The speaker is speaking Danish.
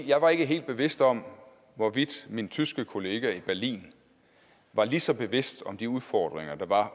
jeg var ikke helt bevidst om hvorvidt min tyske kollega i berlin var lige så bevidst om de udfordringer der var